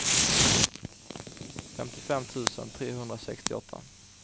femtiofem tusen trehundrasextioåtta